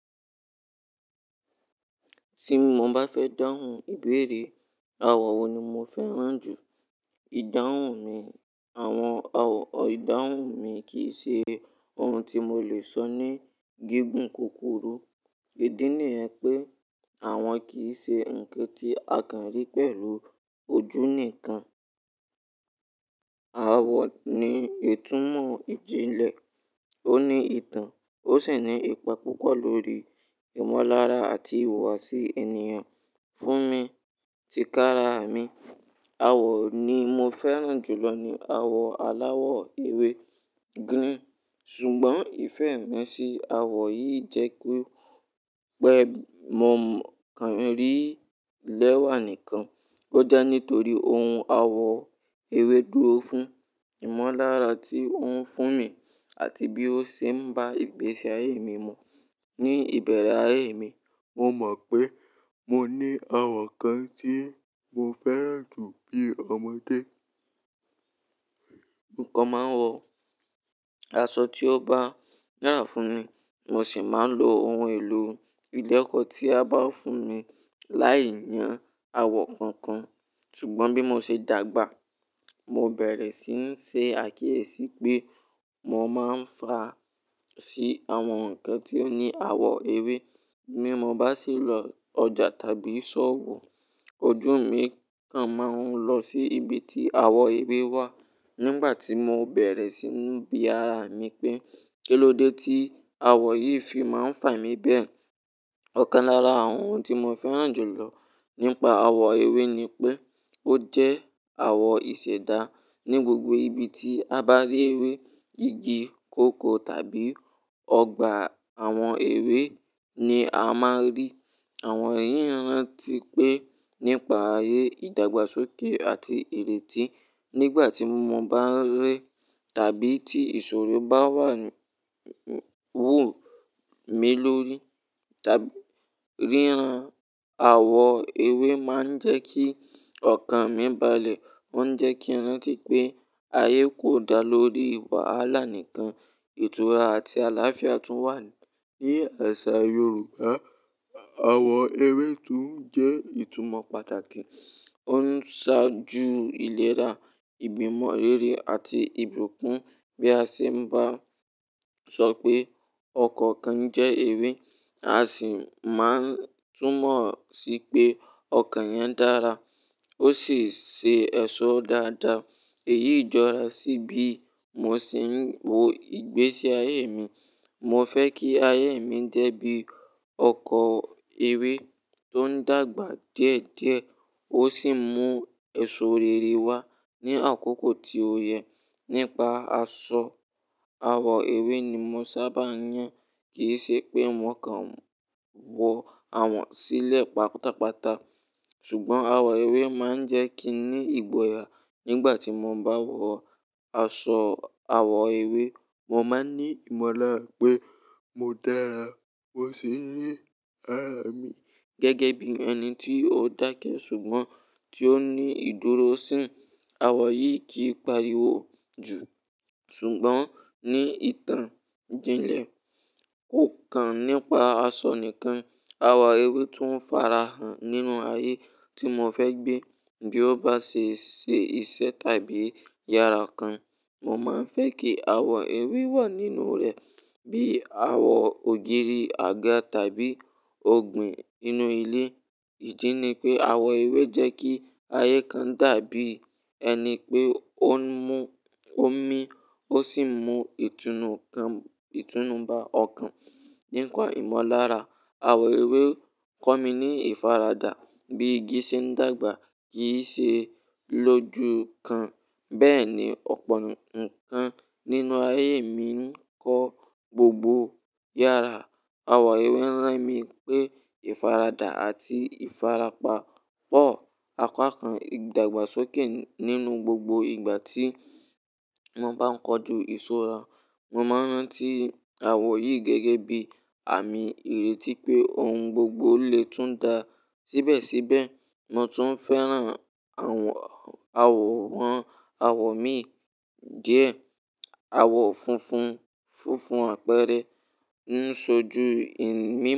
Tí mo bá fẹ́ dáhùn ìbéèrè, àwọ̀ wo ni mo fẹ́ràn jù? Ìdáhùn mi, àwọn àwọ̀ ìdáhùn mi kì í ṣe ohun tí mo lè sọ ní gígùn kukuru. Èdí nìyẹ̀n pé àwọn kì í ṣe ǹkan tí a kàn rí pẹ̀lú ojú nìkan. Àwọ̀ ni ìtumọ̀ ìjìnlẹ̀, ó ní ìtàn, ó sì ní ipa púpọ̀ lórí ìmọ̀lára àti ìhùwàsí ènìyàn. Fún mi, tí kára mi, àwọ̀ ni mo fẹ́ràn jùlọ ni àwọ̀ aláwọ̀ ewé green. Ṣùgbọ́n ìfẹ́ mi sí àwọ̀ yìí jẹ́ pé, pé mò ń kàn rí lẹ́wà nìkan. Ó jẹ́ nítorí ohun àwọ̀ ewé dúró fún ìmọ̀lára tí ó ń fún mi àti bí ó ṣe ń bá ìgbésí ayé mi mú. Ni ìbéèrè ayé mi, mo mọ pe mo ní àwọn nkan tí mò fẹ́ràn jù ní ọmọdé. Nǹkan máa ń wọ aṣọ tí ó bá yàrá fún mi, mo sì máa ń lo ohun èlò ilé ẹ̀kọ́ tí a bá fún mi láì yàn àwọ̀ kankan. Ṣùgbọ́n bí mo ṣe dàgbà, mo bẹ̀rẹ̀ sí ń ṣe àkíyèsí pé mo máa ń fa sí àwọn ǹkan tí ó ní àwọ̀ ewé. Bí mo bá sì lọ ọjà tàbí ṣọ́ọ̀bù, ojú mi kan máa ń lọ sí ibi tí àwọ̀ ewé wà. Nígbà tí mo bẹ̀rẹ̀ sí í nú bí ara mi pé, kílóde tí àwọ̀ yìí fi máa ń fà mí bẹ́ẹ̀. Ọ̀kan lára àwọn ohun tí mo fẹ́ràn jù lọ nípa àwọ̀ ewé ni pé ó jẹ́ àwọ̀ ìṣẹ̀dá. Ni gbogbo ibi tí a bá rí ewé, igi, kòkó tàbí ọgbà àwọn ewé ni a máa rí. Àwọn èyí ń rántí pé nípa ayé ìdàgbàsókè àti ìrètí. Nígbà tí mọ bá ń rẹ tàbí tí ìṣòro bá wù ú mí lórí tàbí, ríran àwọ̀ ewé máa ń jẹ́ kí ọkàn mi balẹ̀. Ó ń jẹ́ kí rántí pé ayé kò dá lórí wàhálà nìkan, ìtura àti àláfíà tún wà. Ni àṣà Yorùbá, àwọ̀ ewé tún jẹ́ ìtumọ̀ pàtàkì. Ó ń ṣáájú ìlera, ìgbìmọ̀ rere àti ìbùkún. Bí a ṣe bá sọ pé ọkọ̀ kan jẹ́ ewé, a sì máa ń túmọ̀ sí pé ọkọ̀ yẹn dára, ó sì ṣe ẹ̀ṣọ́ dáadáa. Èyí jọra sí bí mo ṣe ń wo ìgbésí ayé mi. Mo fẹ́ kí ayé mi jẹ́ bí ọkọ ewé tó ń dàgbà díẹ̀díẹ̀, ó sì mú ẹ̀ṣọ́ rere wá ní àkókò tí o yẹ. Nípa aṣọ àwọ̀ ewé ni mo sábà yàn. Kì í ṣe pé mò kàn wọ àwọ̀ sílẹ̀ pátápátá, ṣùgbọ́n àwọ̀ ewé máa ń jẹ́ kí n ní ìgboyà. Nígbà tí mo bá wọ aṣọ àwọ̀ ewé, mo máa ní ìmọ̀lára pé mo dára. Mo sì ń rí ara mi gẹ́gẹ́ bí ẹni tí ó dákẹ́ ṣùgbọ́n tí ó ní ìdúróṣin. Àwọ̀ yìí kì í pariwo jù ṣùgbọ́n ní ìtàn jinlẹ̀ kò kàn nípa aṣọ nìkan. Àwọ̀ ewé tún fara hàn nínú ayé tí mo fẹ́ gbé. Bí ó bá ṣe ṣe iṣẹ́ tàbí yàrá kan, mo máa ń fẹ́ kí àwọ̀ ewé wà nínú rẹ̀. Bíi àwọ̀ ògiri àga tàbí ògbìn nínú ilé. Ìdí ni pé àwọ̀ ewé jẹ́ kí ayé kan dàbí ẹni pé ó ń mú omi, ó sì mú ìtùnú kan, ìtùnú bá ọkàn nípa ìmọ̀lára. Àwọ̀ ewé kọ́ mi ní ìfaradà bí igi ṣe ń dàgbà kì í ṣe lójú kan. Bẹ́ẹ̀ ni ọ̀pọ̀ ǹkan nínú ayé mi ń kọ́ gbogbo yàrá. Àwọ̀ ewé ń rán mi pé ìfaradà àti ìfarapa pọ̀. Apákan ìdàgbàsókè nínú gbogbo ìgbà tí mo bá ń kojú ìṣọ́ra. Mo máa ń rántí àwọ̀ yìí gẹ́gẹ́ bí àmì ìrètí pé ohun gbogbo lè tún dá síbẹ̀síbẹ̀. Mo tùn fẹ́ràn àwọ̀ míì díẹ̀ àwọ̀ funfun, funfun àpẹẹrẹ ń ṣojú ìní.